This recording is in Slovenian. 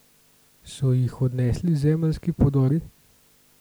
So jih odnesli zemeljski podori?